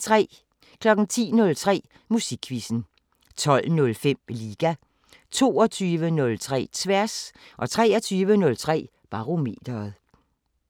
10:03: Musikquizzen 12:05: Liga 22:03: Tværs 23:03: Barometeret